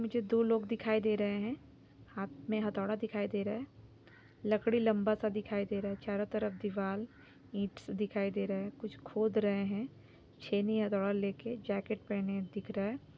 मुझे दो लोग दिखाई दे रहे है हाथ में हथोड़ा दिखाई दे रहा है लकड़ी लम्बा सा दिखाई दे रहा है चारों तरफ दीवाल ईंट दिखाई दे रहा है कुछ खोद रहे है छेनी हथोड़ा लेके जैकेट पहने दिख रहा है।